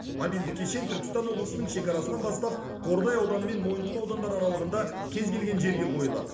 мобильді кешен түркістан облысының шекарасынан бастап қордай ауданы мен мойынқұм аудандары аралығында кез келген жерге қойылады